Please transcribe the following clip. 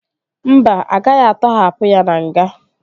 Mba, agaghị atọhapụ ya na nga